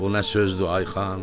Bu nə sözdür, Ay xan?